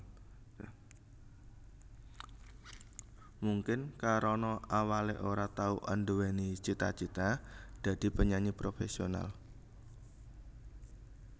Mungkin karana awalé ora tau anduweni cita cita dadi penyanyi professional